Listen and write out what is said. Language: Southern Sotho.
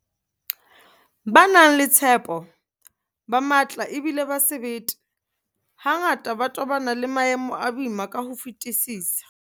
Ba na le tshepo, ba matla ebile ba sebete, hangata ba tobana le maemo a boima ka ho fetisisa.